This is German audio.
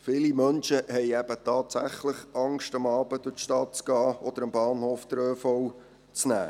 Viele Menschen haben eben tatsächlich Angst davor, abends durch die Stadt zu gehen oder am Bahnhof den ÖV zu nehmen.